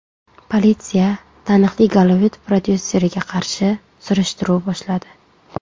Politsiya taniqli Gollivud prodyuseriga qarshi surishtiruv boshladi.